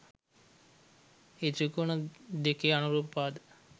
ඒ ත්‍රිකෝණ දෙකේ අනුරූප පාද